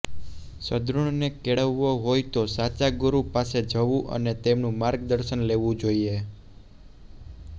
સદ્ગુણને કેળવવો હોય તો સાચા ગુરુ પાસે જવું અને તેમનું માર્ગદર્શન લેવું જોઇએ